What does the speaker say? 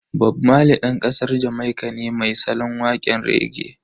Bob Marley Dan kasar Jamaika ne mai salon wakan rege.